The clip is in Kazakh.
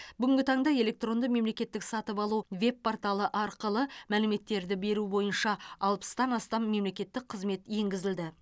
бүгінгі таңда электронды мемлекеттік сатып алу веб порталы арқылы мәліметтерді беру бойынша алпыстан астам мемлекеттік қызмет енгізілді